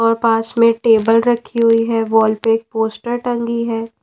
और पास में टेबल रखी हुई है वॉल पे एक पोस्टर टंगी है।